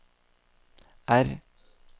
R